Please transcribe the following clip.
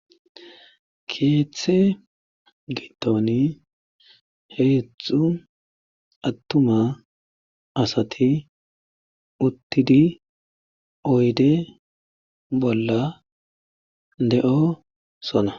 Keeththe giddoni heezzu attuma asati uttidi oyde bolla de7osona.